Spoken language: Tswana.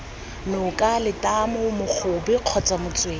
noka letamo mogobe kgotsa motswedi